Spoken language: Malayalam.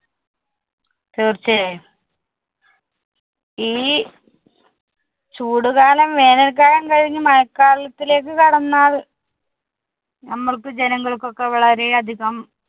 തീർച്ചയായും . ഈ ചൂടുകാലം വേനല്‍ക്കാലം കഴിഞ്ഞ് മഴക്കാലത്തിലേക്ക് കടന്നാല്‍ നമ്മള്‍ക്ക് ജനങ്ങള്‍ക്കൊക്കെ വളരെ അധികം